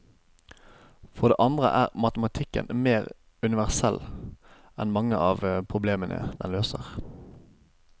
For det andre er matematikken mer universell enn mange av problemene den løser.